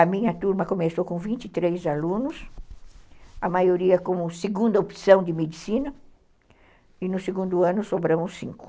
A minha turma começou com vinte e três alunos, a maioria com segunda opção de medicina e no segundo ano sobraram os cinco.